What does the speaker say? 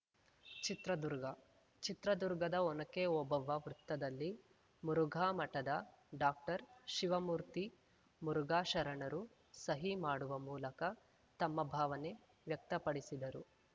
ಚಿತ್ರದುರ್ಗ ಚಿತ್ರದುರ್ಗದ ಒನಕೆ ಓಬವ್ವ ವೃತ್ತದಲ್ಲಿ ಮುರುಘಾ ಮಠಧ ಡಾಕ್ಟರ್ಶಿವಮೂರ್ತಿ ಮುರುಘಾ ಶರಣರು ಸಹಿ ಮಾಡುವ ಮೂಲಕ ತಮ್ಮ ಭಾವನೆ ವ್ಯಕ್ತಪಡಿಸಿದರು